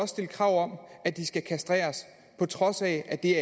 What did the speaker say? stille krav om at de skal kastreres på trods af at det